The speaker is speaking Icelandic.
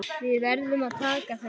Við verðum að taka þessu.